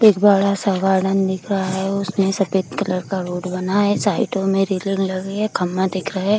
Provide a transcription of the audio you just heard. एक बड़ा-सा गार्डन दिख रहा हे उसमे सफ़ेद कलर का रोड बना हे साइडो में रेलिंग लगी है कम्बा दिख रहा हे।